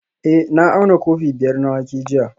Eh na auna kofi biyar na wake jiya